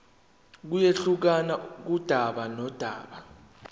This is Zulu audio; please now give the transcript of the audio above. kuyehluka kudaba nodaba